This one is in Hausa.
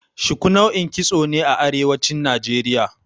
Shiku nau'in kitso ne a Arewacin Najeriya.